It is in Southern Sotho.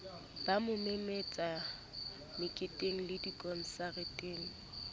ba mo memetse meketengle dikonsareteng